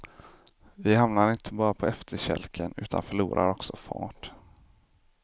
Vi hamnar inte bara på efterkälken utan förlorar också fart.